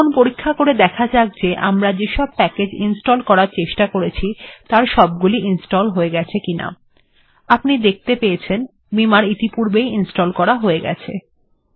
এখন পরীক্ষা করে দেখা যাক যে এতক্ষণ আমরা যেসব প্যাকেজ্ ইনস্টল্ অর্থাৎ সংস্থাপন করার চেষ্টা করেছি তার সবগুলি ইনস্টল্ হয়েছে কিনা আপনি দেখতে পাচ্ছেন যে বিমার্ ইতিপূর্বে ই ইনস্টল্ করা হয়ে গেছে